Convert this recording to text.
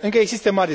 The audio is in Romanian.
Încă există mari